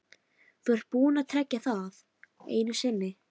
Þú ert búinn að trekkja það einu sinni.